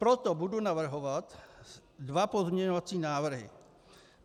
Proto budu navrhovat dva pozměňovací návrhy.